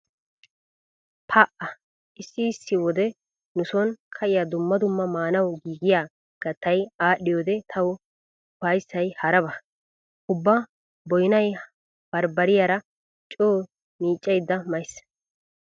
Pa"a issi issi wode nu sooni ka'iya dumma dumma maanawu giigiya kattay aadhdhiyode tawu ufayssay haraba. Ubba boynay barbbariyara coo miiccaydda mays.